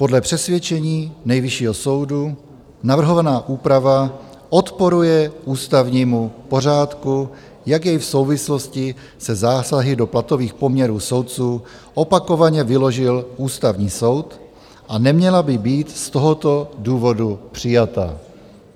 Podle přesvědčení Nejvyššího soudu navrhovaná úprava odporuje ústavnímu pořádku, jak jej v souvislosti se zásahy do platových poměrů soudců opakovaně vyložil Ústavní soud, a neměla by být z tohoto důvodu přijata.